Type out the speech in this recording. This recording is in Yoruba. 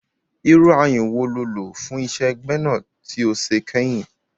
Irú ayun wo lo lò fún iṣẹ́ gbẹ́nà tí o ṣe kẹyìn?